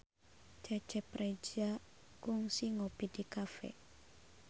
Cecep Reza kungsi ngopi di cafe